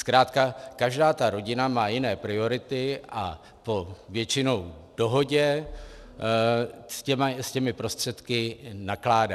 Zkrátka každá ta rodina má jiné priority a po většinou dohodě s těmi prostředky nakládá.